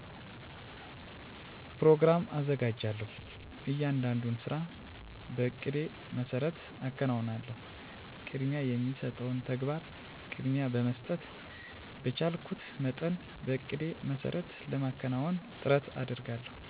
ኘሮግራም አዘጋጃለሁ። እያንዳንዱን ስራ በእቅዴ መሰረት አከናውናለሁ። ቅድሚያ የሚሰጠውን ተግባር ቅድሚያ በመስጠት በቻልኩት መጠን በእቅዴ መሰረት ለማከናወን ጥረት አደርጋለሁ።